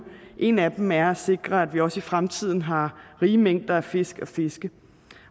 en af dem er at sikre at vi også i fremtiden har rige mængder af fisk at fiske